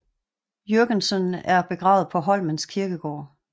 Jürgensen er begravet på Holmens Kirkegård